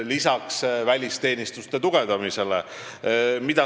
Mida see tähendab?